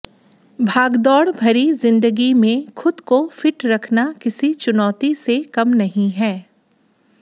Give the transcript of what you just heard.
भागदौड़ भरी जिंदगी में खुद को फिट रखना किसी चुनौती से कम नहीं है